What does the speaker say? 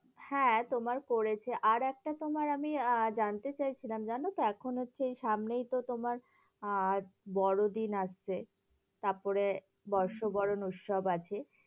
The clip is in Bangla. হ্যাঁ তোমার করেছে, আরেকটা তোমার আমি আহ জানতে চাইছিলাম জানতো, এখন হচ্ছে এই সামনেই তো তোমার আর বড়দিন আসছে তারপরে বর্ষবরণ উৎসব আছে,